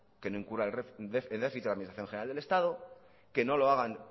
que no incurra el déficit la administración general del estado que no lo haga